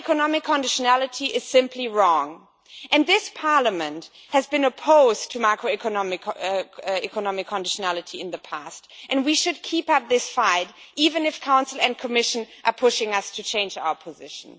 Macroeconomic conditionality is simply wrong, and this Parliament has been opposed to macroeconomic conditionality in the past and we should keep up this fight even if the Council and Commission are pushing us to change our position.